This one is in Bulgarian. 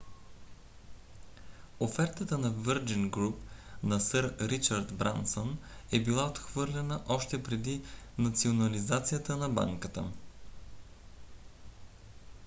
офертата на virgin group на сър ричард брансън е била отхвърлена още преди национализацията на банката